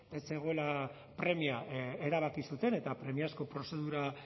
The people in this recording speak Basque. ez zegoela premia erabaki zuten eta premiazko prozedura